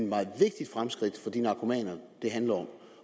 meget vigtigt fremskridt for de narkomaner det handler om